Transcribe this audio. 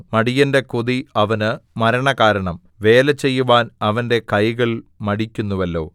മടിയന്റെ കൊതി അവന് മരണകാരണം വേലചെയ്യുവാൻ അവന്റെ കൈകൾ മടിക്കുന്നുവല്ലോ